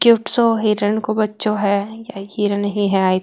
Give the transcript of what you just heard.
क्युट सो हिरेण को बच्चो है या हिरेण ही है।